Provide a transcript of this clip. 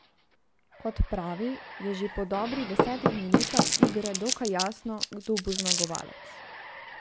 Kot pravi, je že po dobrih desetih minutah igre dokaj jasno, kdo bo zmagovalec.